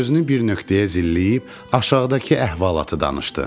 Gözünü bir nöqtəyə zilləyib aşağıdakı əhvalatı danışdı.